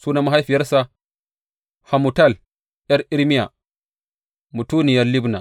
Sunan mahaifiyarsa Hamutal ’yar Irmiya; mutuniyar Libna.